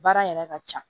Baara yɛrɛ ka ca